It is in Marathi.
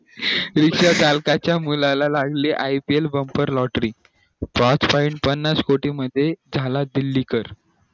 विश्व पालकाच्या मुलाला लागली ipl बंपर lottery पाच पन्नास कोटी मध्ये झाला दिल्ली कर